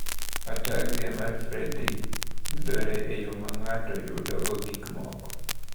Ataxia mar Friedreich yudore e yo ma ng’ato yudogo gik moko.